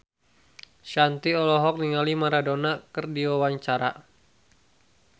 Shanti olohok ningali Maradona keur diwawancara